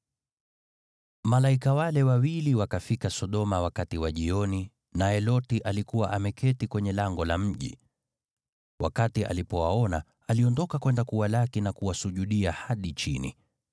Malaika wale wawili wakafika Sodoma wakati wa jioni, naye Loti alikuwa ameketi kwenye lango la mji. Wakati alipowaona, aliondoka kwenda kuwalaki na kuwasujudia hadi chini.